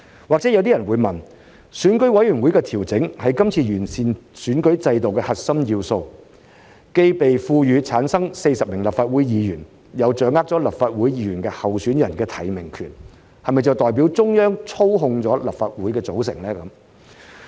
或許有些人會問，選舉委員會的調整是今次完善選舉制度的核心要素，既被賦權選舉產生40名立法會議員，亦掌握立法會議員候選人的提名權，這是否代表中央操控立法會的組成？